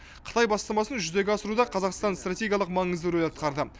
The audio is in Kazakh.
қытай бастамасын жүзеге асыруда қазақстан стратегиялық маңызды рөл атқарды